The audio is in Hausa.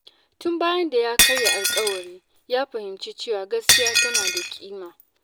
Tun bayan da ya karya alƙawari, ya fahimci cewa gaskiya tana da ƙima.